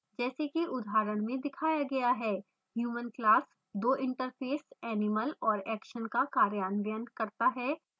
जैसे कि उदाहरण में दिखाया गया है human class दो interfaces animal और action का कार्यान्वयन करता है